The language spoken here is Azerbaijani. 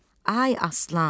Ay Aslan!